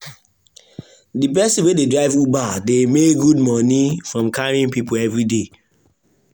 the person wey dey drive uber dey make good money from carrying people every day.